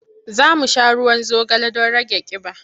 Za mu sha ruwan zogale don rage ƙiba.